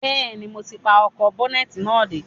Bẹ́ẹ̀ni, mo ti pa ọkọ̀ ́bọ́nẹ́tì náà dé